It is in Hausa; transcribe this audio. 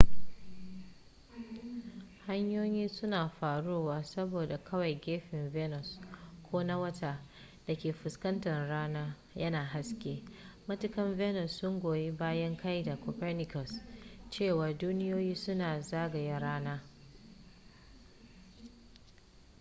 hanyoyi suna faruwa saboda kawai gefen venus ko na wata da ke fuskantar rana yana haske. matakan venus sun goyi bayan ka'idar copernicus cewa duniyoyin suna zagaya rana